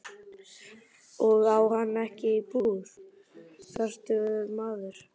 Og á hann ekki íbúð, fertugur maðurinn?